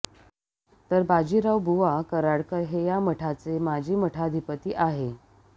तर बाजीरावबुवा कराडकर हे या मठाचे माजी मठाधिपती आहे